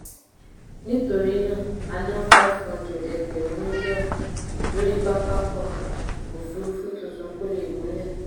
nítorí náà a ná five hundred ẹgbẹ̀rún mílíọ̀nù lórí pápákọ̀ òfuurufú tuntun kò lè gúnlẹ̀.